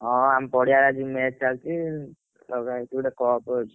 ହଁ ଆମ ପଡିଆରେ ଆଜି match ଚାଲିଛି ଲଗାହେଇଛି ଗୋଟେ cup ଅଛି।